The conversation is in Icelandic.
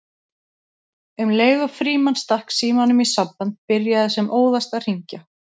Um leið og Frímann stakk símanum í samband byrjaði sem óðast að hringja